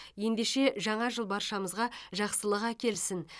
ендеше жаңа жыл баршамызға жақсылық әкелсін